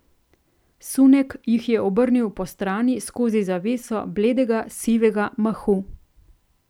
Sunek jih je obrnil postrani skozi zaveso bledega sivega mahu.